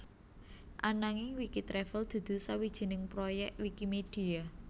Ananging Wikitravel dudu sawijining proyek Wikimedia